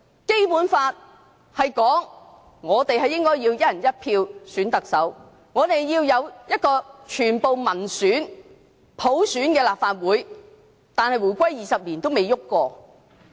《基本法》說我們應該要"一人一票"選特首，要有一個全部議員由民選、普選產生的立法會，但回歸20年來也未有改變。